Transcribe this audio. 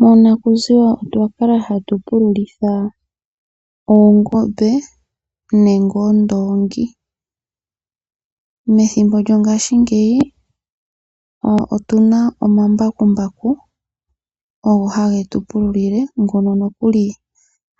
Monakuziwa otwa kala ha tu pululitha oongombe nenge oondoongi. Methimbo lyongashingeyi otu na omambakumbaku ogo ha ge tu pululile, ngono nokuli